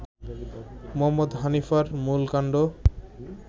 মুহম্মদ হানিফার মূল কান্ড